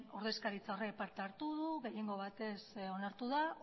ordezkaritza horrek parte hartu du gehiengo batez onartu da